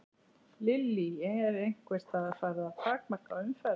Lillý: Er einhvers staðar farið að takmarka umferð?